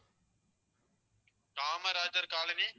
Kamarajar colony